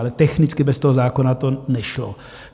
Ale technicky bez toho zákona to nešlo.